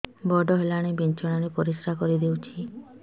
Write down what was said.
ବଡ଼ ହେଲାଣି ବିଛଣା ରେ ପରିସ୍ରା କରିଦେଉଛି